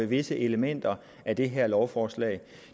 visse elementer af det her lovforslag